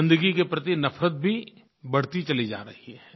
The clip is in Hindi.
गन्दगी के प्रति नफ़रत भी बढ़ती चली जा रही है